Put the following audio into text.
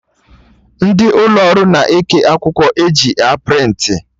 Ndị ụlọ ọrụ na-eke akwụkwọ eji a prịntị